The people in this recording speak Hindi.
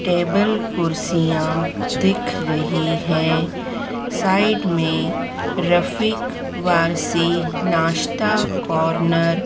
टेबल कुर्सियां दिख रही हैं साइड में रफीक वारसी नाश्ता कॉर्नर --